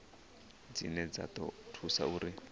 dzine dza ḓo thusa uri